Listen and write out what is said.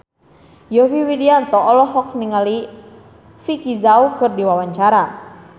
Yovie Widianto olohok ningali Vicki Zao keur diwawancara